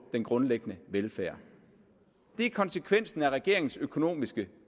den grundlæggende velfærd det er konsekvensen af regeringens økonomiske